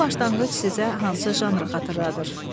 Bu başlanğıc sizə hansı janrı xatırladır?